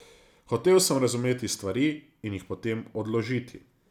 Hotel sem razumeti stvari in jih potem odložiti.